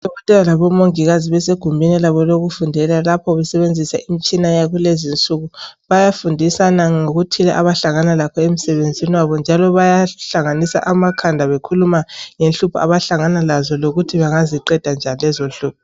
Odokotela labomongikazi besegumeni labo elokufundela lapho besebenzisa imitshina yakulezi insuku. Bayafundisana ngokuthi abahlangana lakho emsebenzini wabo njalo bayahlanganisa amakhanda bekhuluma ngenhlupho abahlangana lazo lokuthi bangaziqeda njani lezo nhlupho.